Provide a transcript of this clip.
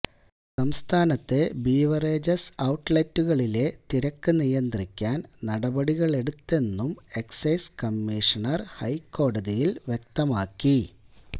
സംസ്ഥാനത്തെ ബവ്റിജസ് ഔട്ട്ലെറ്റുകളിലെ തിരക്ക് നിയന്ത്രിക്കാന് നടപടികളെടുത്തെന്നും എക്സൈസ് കമ്മീഷണര് ഹൈക്കോടതിയില് വ്യക്തമാക്കി